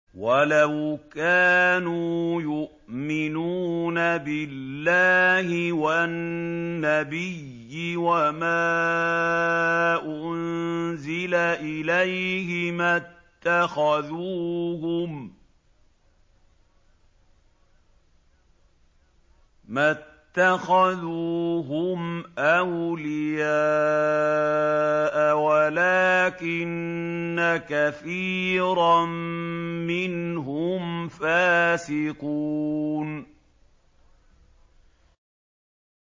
وَلَوْ كَانُوا يُؤْمِنُونَ بِاللَّهِ وَالنَّبِيِّ وَمَا أُنزِلَ إِلَيْهِ مَا اتَّخَذُوهُمْ أَوْلِيَاءَ وَلَٰكِنَّ كَثِيرًا مِّنْهُمْ فَاسِقُونَ